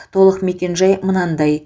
толық мекенжай мынадай